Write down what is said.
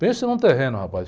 Pensa num terreno, rapaz.